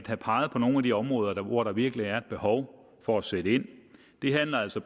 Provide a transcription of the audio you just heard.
har peget på nogle af de områder hvor der virkelig er et behov for at sætte ind det handler altså